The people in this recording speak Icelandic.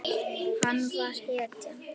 Hann var hetjan.